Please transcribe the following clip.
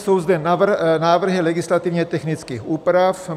Jsou zde návrhy legislativně technických úprav.